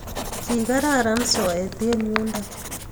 Kikararan soet eng yundook